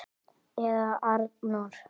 Eða Arnór!